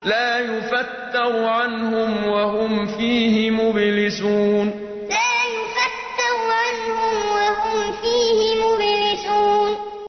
لَا يُفَتَّرُ عَنْهُمْ وَهُمْ فِيهِ مُبْلِسُونَ لَا يُفَتَّرُ عَنْهُمْ وَهُمْ فِيهِ مُبْلِسُونَ